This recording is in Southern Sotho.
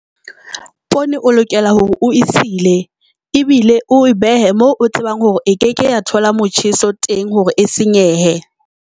Poone o lokela hore o esile ebile o behe moo o tsebang hore e ke ke ya thola motjheso teng hore e senyehe.